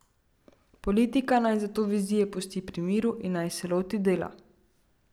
Politika naj zato vizije pusti pri miru in naj se loti dela.